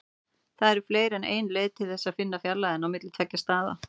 Það eru fleiri en ein leið til þess að finna fjarlægðina á milli tveggja staða.